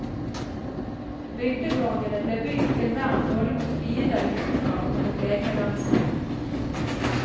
Bygdeborgene ble bygd til vern både mot fiender utenfra og mot egne landsmenn.